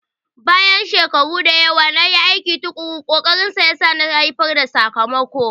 Bayan shekaru da yawa na aiki tuƙuru, ƙokarinsa nasa ya haifar da sakamako.